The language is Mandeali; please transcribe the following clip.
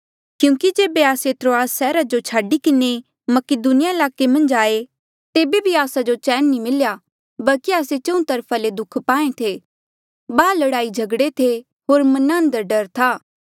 क्यूंकि जेबे आस्से त्रोआस सैहरा जो छाडी किन्हें मकीदुनिया ईलाके मन्झ आये तेबे भी आस्सा जो चैन नी मिल्या बल्की आस्से चहुँ तरफा ले दुःख पाहें थे बाहर लड़ाईझगड़े थे होर मना अंदर डर था